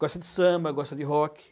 Gosta de samba, gosta de rock.